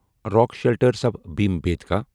rock shelters of Bhimbetka